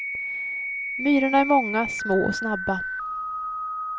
Myrorna är många, små och snabba.